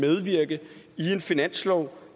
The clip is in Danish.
finanslov